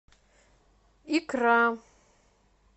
икра